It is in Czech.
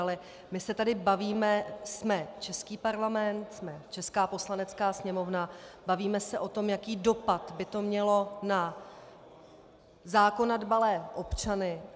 Ale my se tady bavíme - jsme český Parlament, jsme česká Poslanecká sněmovna - bavíme se o tom, jaký dopad by to mělo na zákona dbalé občany.